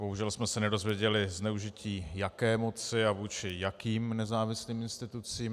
Bohužel jsme se nedozvěděli zneužití jaké moci a vůči jakým nezávislým institucím.